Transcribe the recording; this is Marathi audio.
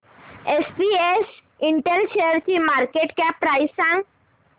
एसपीएस इंटेल शेअरची मार्केट कॅप प्राइस सांगा